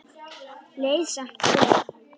Leið samt vel.